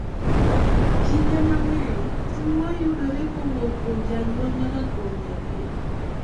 Kinde mang'eny, tuo yudore kowuok kuom janyuol nyaka kuom nyathi .